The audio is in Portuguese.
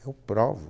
Eu provo.